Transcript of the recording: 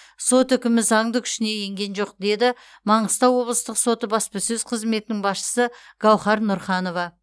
сот үкімі заңды күшіне енген жоқ деді маңғыстау облыстық соты баспасөз қызметінің басшысы гауһар нұрханова